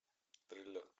триллер